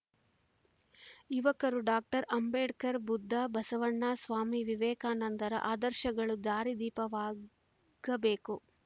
ಯುವಕರು ಡಾಕ್ಟರ್ ಅಂಬೇಡ್ಕರ್‌ ಬುದ್ಧ ಬಸವಣ್ಣ ಸ್ವಾಮಿ ವಿವೇಕಾನಂದರ ಆದರ್ಶಗಳು ದಾರಿದೀಪವಾಗಬೇಕು